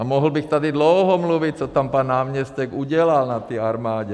A mohl bych tady dlouho mluvit, co tam pan náměstek udělal, na té armádě.